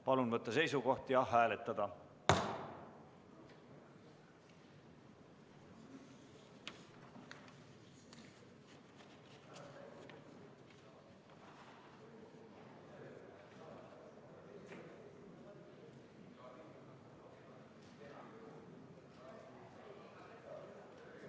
Palun võtta seisukoht ja hääletada!